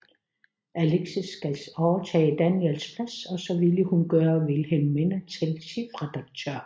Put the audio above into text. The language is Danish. Alexis skal overtage Daniels plads og så ville hun gøre Wilhelmina til chefredaktør